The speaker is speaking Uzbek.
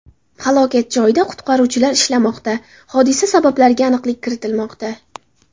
Halokat joyida qutqaruvchilar ishlamoqda, hodisa sabablariga aniqlik kiritilmoqda.